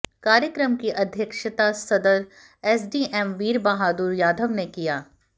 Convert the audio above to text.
कार्यक्रम की अध्यक्षता सदर एसडीएम वीर बहादुर यादव ने किया